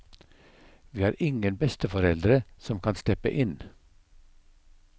Vi har ingen besteforeldre som kan steppe inn.